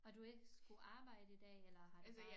Og du ikke skulle arbejde i dag eller har det bare